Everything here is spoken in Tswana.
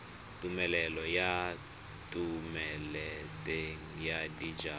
tumelelo ya thomeloteng ya dijalo